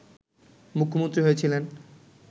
মুখ্যমন্ত্রী হয়েছিলেন